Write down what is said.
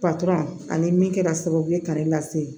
ani min kɛra sababu ye k'ale lase